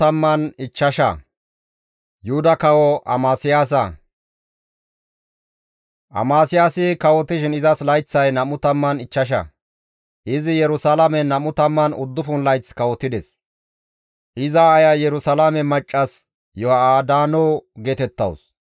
Amasiyaasi kawotishin izas layththay 25; izi Yerusalaamen 29 layth kawotides; iza aaya Yerusalaame maccas Yoha7adaano geetettawus.